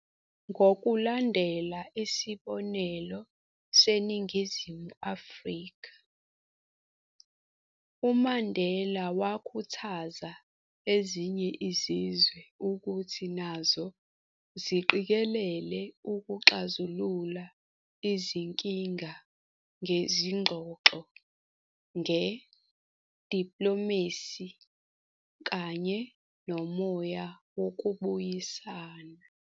Ngokulandela isibonelo seNingizimu Afrika, uMandela wakhuthaza ezinye izizwe ukuthi nazo ziqikelele ukuxazulula izinkinga ngezingxoxo nge-diplomacy kanye nomoya wokubuyisana.